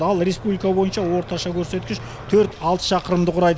ал республика бойынша орташа көрсеткіш төрт алты шақырымды құрайды